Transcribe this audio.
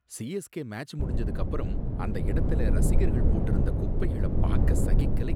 CSK match முடிஞ்சதுக்கு அப்புறம் அந்த இடத்துல ரசிகர்கள் போட்டிருந்த குப்பைகள பாக்க சகிக்கலை.